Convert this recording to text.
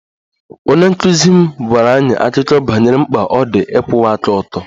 Onye nkụzi m gwara anyị akụkọ banyere mkpa ọ dị ịkwụwa aka ọtọ